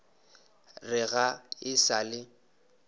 re ga e sa le